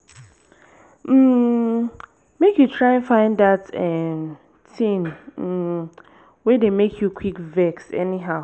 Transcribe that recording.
um mek you try find dat um tin um wey dey mek yu quick vex anyhow